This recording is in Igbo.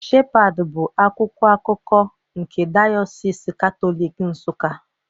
Shepad bụ akwụkwọ akụkọ nke Dayọsis Katọlik Nsuka